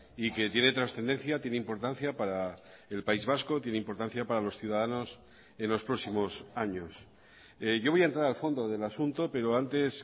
y que tiene trascendencia tiene importancia para el país vasco tiene importancia para los ciudadanos en los próximos años yo voy a entrar al fondo del asunto pero antes